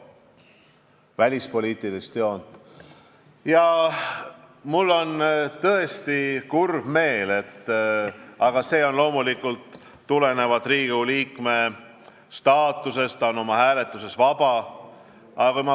Samas, kurb küll, aga loomulikult on parlamendis hääletus tulenevalt Riigikogu liikme staatusest vaba.